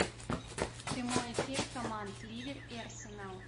прямой эфир команд ливер и арсенал